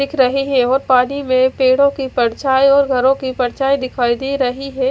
दिख रहे है और पानी में पेड़ो की परछाई और घरो की परछाई दिखाई दे रही है।